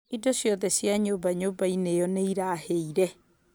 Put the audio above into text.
Indo ciothe cia nyũmba nyũmba-inĩ ĩo nĩ irahĩire